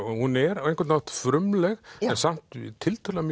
hún er á einhvern hátt frumleg en samt tiltölulega